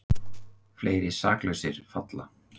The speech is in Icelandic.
Fleiri saklausir falla